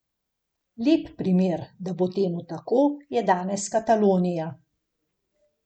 Lep primer, da bo temu tako, je danes Katalonija.